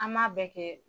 An m'a bɛɛ kɛ